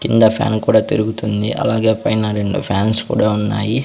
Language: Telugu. కింద ఫ్యాన్ కూడా తిరుగుతుంది అలాగే పైన రెండు ఫ్యాన్స్ కూడా ఉన్నాయి.